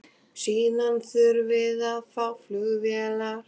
Síðan þurfum við að fá flugvélar.